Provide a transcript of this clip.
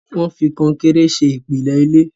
wón fí Kọnkéré ṣe ìpìlẹ ilé